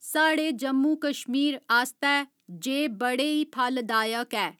साढ़े जम्मू कश्मीर आस्तै जे बड़े ही फलदायक ऐ